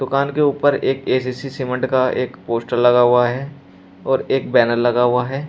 दुकान के ऊपर एक ए_सी_सी सीमेंट का एक पोस्टर लगा हुआ है और एक बैनर लगा हुआ है।